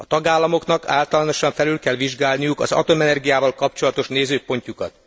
A tagállamoknak általánosan felül kell vizsgálniuk az atomenergiával kapcsolatos nézőpontjukat.